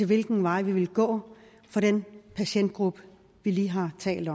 hvilken vej vi vil gå for den patientgruppe vi lige har talt